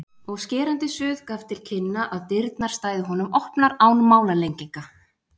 og skerandi suð gaf til kynna að dyrnar stæðu honum opnar án málalenginga.